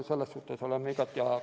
Selles suhtes oleme igati ajakavas.